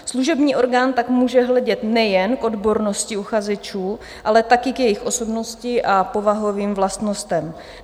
Služební orgán tak může hledět nejen k odbornosti uchazečů, ale také k jejich osobnosti a povahovým vlastnostem.